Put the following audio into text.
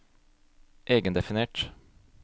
egendefinert